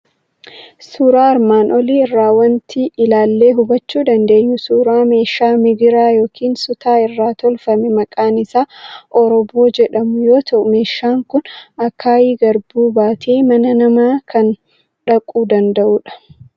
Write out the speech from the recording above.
Suuraa armaan olii irraa waanti ilaallee hubachuu dandeenyu suuraa meeshaa migira yookiin sutaa irraa tolfamu maqaan isaa Orooboo jedhamu yoo ta'u, meeshaan kun akaayii garbuu baatee mana namaa kan dhaquu danda'udha.